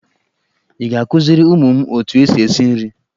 Ị ga-akuziri ụmụ m otu esi esi nri?